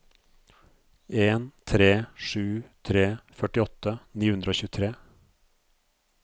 en tre sju tre førtiåtte ni hundre og tjuetre